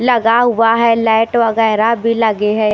लगा हुआ है लाइट वगैरह भी लगे हैं।